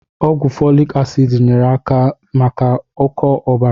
Ọgwụ fọlik asịd nyere aka maka ụkọ ọbara.